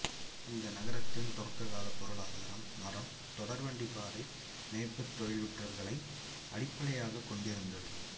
இந்த நகரத்தின் தொடக்ககாலப் பொருளாதாரம் மரம் தொடர்வண்டிப் பாதை மேய்ப்புத் தொழிற்றுறைகளை அடிப்படையாகக் கொண்டிருந்தது